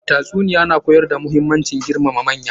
Tatsuniyar na koyar da muhimmancin girmama manya.